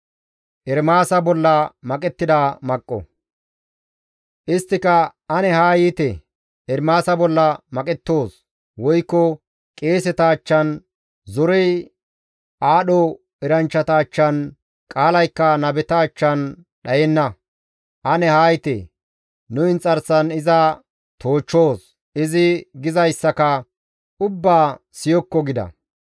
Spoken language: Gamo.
Isttika, «Ane haa yiite; Ermaasa bolla maqettoos; wogay qeeseta achchan, zorey aadho eranchchata achchan, qaalaykka nabeta achchan dhayenna; ane haa yiite; nu inxarsan iza toochchoos; izi gizayssaka ubbaa siyokko» gida.